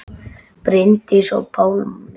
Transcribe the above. Bryndís og Pálmi.